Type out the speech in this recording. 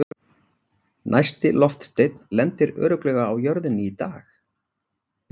næsti loftsteinn lendir örugglega á jörðinni í dag!